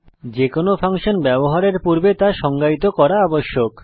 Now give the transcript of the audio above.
যেকোনো ফাংশন ব্যবহার করার পূর্বে তা সংজ্ঞায়িত করা আবশ্যক